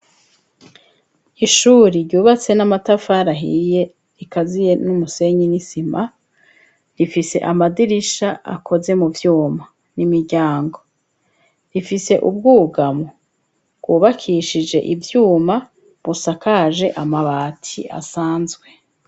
Ishuri ryubatse n'amatafari ahiye rikaziye n'umusenyi n'isima. Rifise amadirisha akoze mu vyuma n'imiryango. Rifise ubwugamo bwubakishije ivyuma busakaje amabati asanzwe.